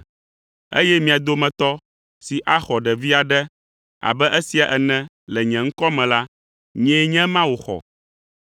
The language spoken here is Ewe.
Eye mia dometɔ si axɔ ɖevi aɖe abe esia ene le nye ŋkɔ me la, nyee nye ema wòxɔ.